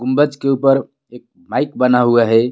गुम्बज के ऊपर एक माइक बना हुआ हैं.